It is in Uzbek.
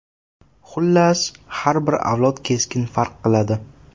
Xullas, har bir avlod keskin farq qiladi.